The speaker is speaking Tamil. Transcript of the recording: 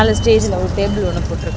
அந்த ஸ்டேஜ்ல ஒரு டேபிள் ஒன்னு போட்ருக்கா--